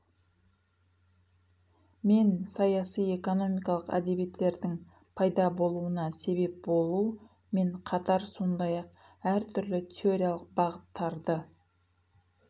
мен саясый экономикалық әдебиеттердін пайда болуына себеп болу мен қатар сондай ақ әртүрлі теориялық бағыттарды